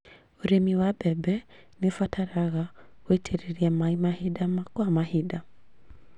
ũrĩmi wa mbembe nĩũbataraga gũitĩrĩria maĩ mahinda kwa mahinda